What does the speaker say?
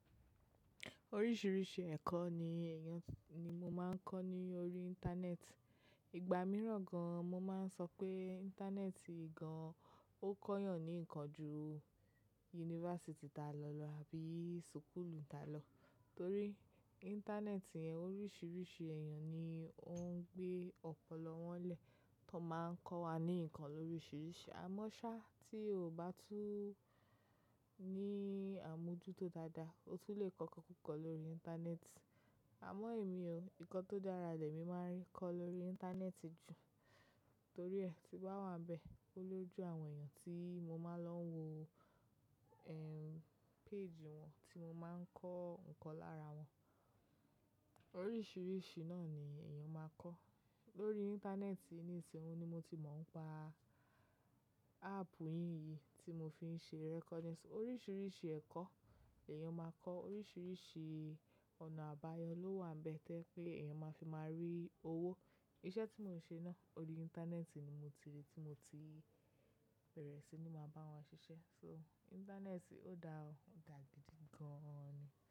Oríṣiríṣi ẹ̀kọ́ ni èèyàn ni mo máa ń kọ́ ní orí Íńtánẹ́ẹ̀tì. Ìgbà mìíràn gan mo máa ń sọ pé Íńtánẹ́ẹ̀tì gan ó kọ yàn ní nǹkan ju yunifásítì ta lò lọ àbí sùkúùlù ta lọ. Torí Íńtánẹ́ẹ̀tì oríṣiríṣi èèyàn ni ó ń gbé ọpọlọ wọ́n lẹ̀, tó máa ń kọ́ wa ní nǹkan lóríṣiríṣi. Á mọ́ ṣá, tí o kò bá tú ní àmójútó dáadáa, o tún le kọ́ ikokuko lórí Íńtánẹ́ẹ̀tì. Àmọ́ èmi o, ǹkan tó dára lèmi máa n rí kọ́ lórí Íńtánẹ́ẹ̀tì jù. Torí ẹ ti bá wá n'bẹ́ẹ̀, ó lójú àwọn èèyàn tí mo máa ń lọ wo, ehn, péèjì wọn tí mo máa ń kọ́ nǹkan lára wọn. Oríṣiríṣi náà ni èèyàn máa kọ́. Lórí Íńtánẹ́ẹ̀tì, nísinsinyí ni mo ti mọ̀ ń pa áàpù yìí yìí tí mo fi ń ṣe recording. Oríṣiríṣi ẹ̀kọ́ l'èèyàn máa kọ́, oríṣiríṣi ọ̀nà àbáyọ ló wà n'bẹ́ẹ̀ tẹ́ pé èèyàn máa fi máa rí owó. Iṣẹ́ tí mo ń ṣe náà, ori Íńtánẹ́ẹ̀tì ni mo ti rí tí mo ti bẹ̀rẹ̀ sí ní máa bá wọn ṣiṣẹ́. So Íńtánẹ́ẹ̀tì ó da ọ́, ó dà gidi gan ni.